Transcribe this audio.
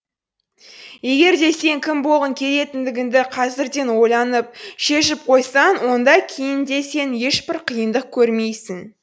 егер де сен кім болғың келетіндігіңді қазірден ойланып шешіп қойсаң онда кейін де сен ешбір қиындық көрмейсің